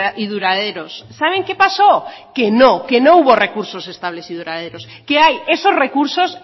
y duraderos saben qué pasó que no que no hubo recursos estables y duraderos que hay esos recursos